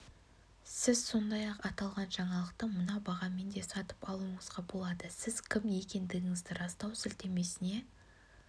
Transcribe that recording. сіз сондай-ақ аталған жаңалықты мына бағамен де сатып алуыңызға болады сіз кім екендігіңізді растау сілтемесіне